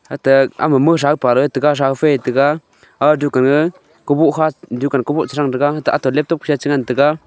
ata ama mosapa mosawfai eh taiga aga dukan ga dukhan kaboh tasang taiga aga laptop changantaiga.